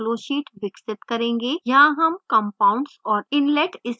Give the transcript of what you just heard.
यहाँ हम compounds और inlet stream conditions देते हैं